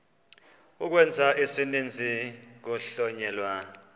ukwenza isininzi kuhlonyelwa